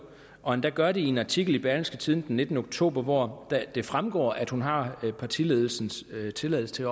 og endda gør det i en artikel i berlingske tidende den nittende oktober hvor det fremgår at hun har partiledelsens tilladelse til